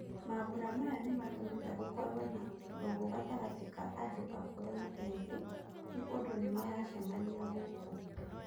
Mambũra maya nĩmatũmĩte gũkorwo na ndũgũ gatagatĩ ka andũ akũrũ na ethĩ nĩ ũndũ nĩmaracemania gũkũ.